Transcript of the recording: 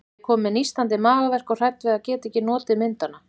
Ég er komin með nístandi magaverk og hrædd við að geta ekki notið myndanna.